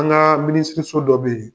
An ka minisiriso dɔ bɛ yen.